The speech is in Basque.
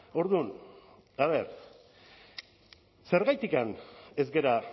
orduan a ver zergatik ez gara